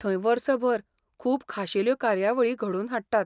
थंय वर्सभर खूब खाशेल्यो कार्यावळी घडोवन हाडटात.